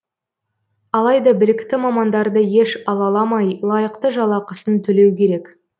алайда білікті мамандарды еш алаламай лайықты жалақысын төлеу керек